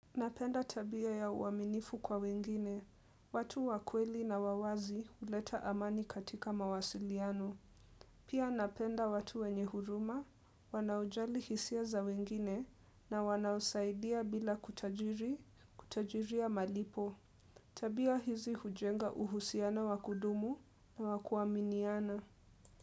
Napenda tabia ya uaminifu kwa wengine, watu wakweli na wawazi huleta amani katika mawasiliano. Pia napenda watu wenye huruma, wanaojali hisia za wengine na wanaosaidia bila kutajiri, kutajiri ya malipo. Tabia hizi hujenga uhusiana wakudumu na wakuaminiana.